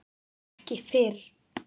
Ekki fyrr?